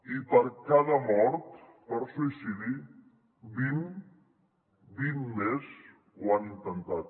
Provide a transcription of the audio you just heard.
i per cada mort per suïcidi vint vint més ho han intentat